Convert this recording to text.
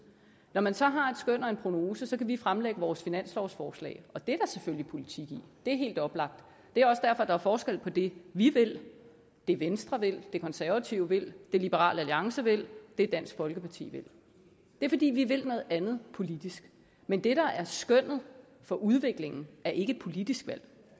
når man så har et skøn og en prognose kan vi fremlægge vores finanslovsforslag og det er der selvfølgelig politik i det er helt oplagt det er også derfor der er forskel på det vi vil det venstre vil det konservative vil det liberal alliance vil det dansk folkeparti vil det er fordi vi vil noget andet politisk men det der er skønnet for udviklingen er ikke et politisk valg